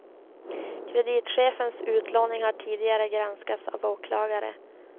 Kreditchefens utlåning har tidigare granskats av åklagare.